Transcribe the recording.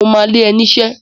Mo ma lé ẹ niṣẹ́!